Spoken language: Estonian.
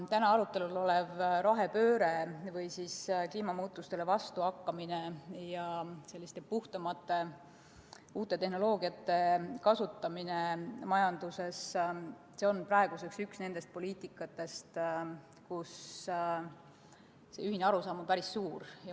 Täna arutelul olev rohepööre või siis kliimamuutustele vastuhakkamine ja puhtamate uute tehnoloogiate kasutamine majanduses on praeguseks üks nendest poliitikatest, kus ühine arusaam on päris kindel.